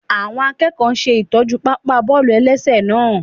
Àwọn akẹ́kọ̀ọ́ náà ṣè tọ́jú pápá bọ́ọ̀lù-ẹlẹ́sẹ̀ náà